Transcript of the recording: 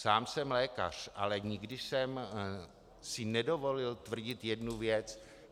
Sám jsem lékař, ale nikdy jsem si nedovolil tvrdit jednu věc.